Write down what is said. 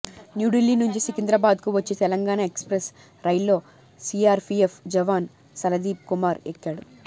న్యూఢిల్లీ నుంచి సికింద్రాబాద్ కు వచ్చే తెలంగాణ ఎక్స్ప్రెస్ రైల్లో సీఆర్పీఎఫ్ జవాన్ సలదీప్ కుమార్ ఎక్కాడు